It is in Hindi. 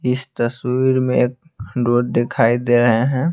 इस तस्वीर में एक डोर दिखाई दे रहे हैं।